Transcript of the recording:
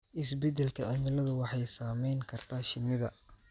Isbeddelka cimiladu waxay saameyn kartaa shinnida.